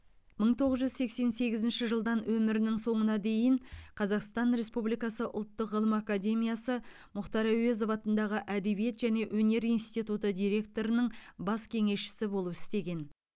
мың тоғыз жүз сексен сегізінші жылдан өмірінің соңына дейін қазақстан республикасы ұлттық ғылым академиясы мұхтар әуезов атындағы әдебиет және өнер институты директорының бас кеңесшісі болып істеген